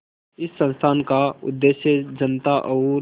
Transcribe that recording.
इस संस्थान का उद्देश्य जनता और